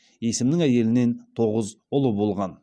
есімнің әйелінен тоғыз ұлы болған